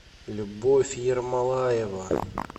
любовь ермолаева